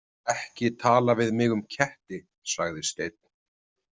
Ekki tala við mig um ketti, sagði Steinn.